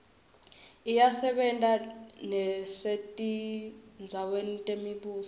iyasebenta nesetindzaweni temibuso